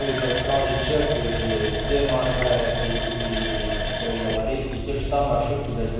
ебать сразу чек ии д моргает ии все и аварийка и те же самые ошибки